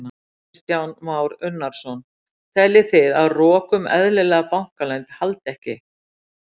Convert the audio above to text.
Kristján Már Unnarsson: Teljið þið að rok um eðlilega bankaleynd haldi ekki?